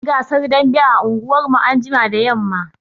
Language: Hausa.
Za a yi gasar dambe a unguwarmu anjima da yamma